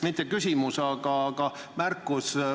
Mitte küsimus, aga märkus.